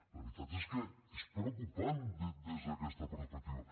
la veritat és que és preocupant des d’aquesta perspectiva